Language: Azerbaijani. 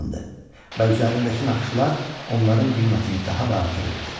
Və üzərindəki naxışlar onların qiymətini daha da artırırdı.